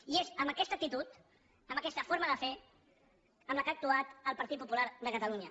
i és amb aquesta actitud amb aquesta forma de fer amb la qual ha actuat el partit popular de catalunya